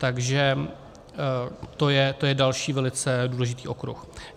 Takže to je další velice důležitý okruh.